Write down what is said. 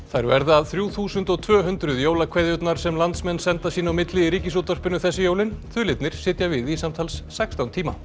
þær verða þrjú þúsund og tvö hundruð jólakveðjurnar sem landsmenn senda sín á milli í Ríkisútvarpinu þessi jólin sitja við í samtals sextán tíma